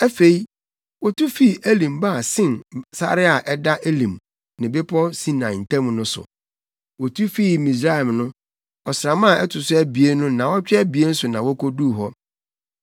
Afei, wotu fii Elim baa Sin sare a ɛda Elim ne Bepɔw Sinai ntam no so. Wotu fii Misraim no, ɔsram a ɛto so abien no nnaawɔtwe abien so na woduu hɔ.